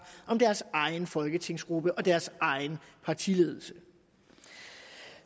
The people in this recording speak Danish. om deres egen folketingsgruppe og deres egen partiledelse